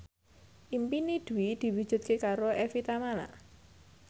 impine Dwi diwujudke karo Evie Tamala